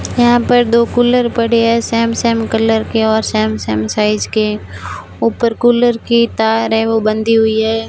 यहां पर दो कूलर पड़ी है सेम सेम कलर के और सेम सेम साइज के ऊपर कूलर की तार है वो बंधी हुई है।